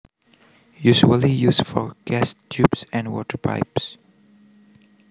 Usually used for gas tubes and water pipes